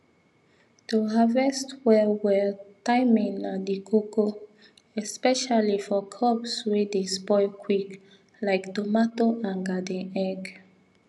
to harvest well well timing na the koko especially for crops wey dey spoil quick like tomato and garden egg